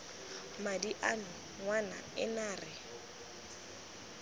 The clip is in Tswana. madi ano ngwana ena re